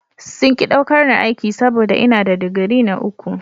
Sun ki ɗaukar ni aiki saboda ina da digiri na uku.